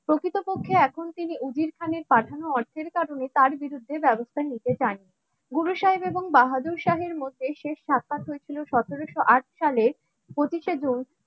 প্রকৃতপক্ষে এখন তিনি স্থানে পাঠানো অর্থের কারণে তার বিরুদ্ধে ব্যবস্থা নিতে চায়. গুরু সাহেব এবং বাহাদুর শাহের মধ্যে শেষ সাক্ষাৎ হয়েছিল সতেরোশো-আট সালের পঁচিশে জুন